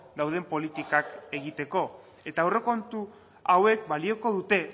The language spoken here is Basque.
dauden politikak egiteko eta aurrekontu hauek balioko dute